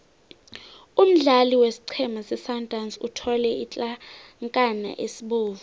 umdlali wesiqhema sesundowns uthole isitlankana esibovu